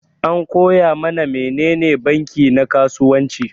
An koya mana menene banki na kasuwanci.